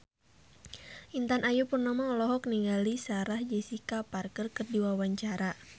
Intan Ayu Purnama olohok ningali Sarah Jessica Parker keur diwawancara